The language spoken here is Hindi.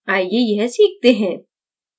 आइए यह सीखते हैं